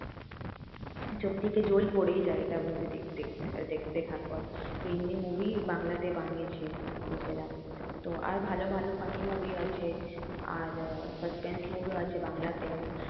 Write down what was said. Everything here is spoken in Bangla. চোখ থেকে জল পড়েই যায় এটা movie দেখতে দেখতে দেখার পর। তো এমনি movie বাংলাতে বানিয়েছে লোকেরা তো আর ভালো ভালো funny movie আছে আর suspense movie ও আছে বাংলাতেও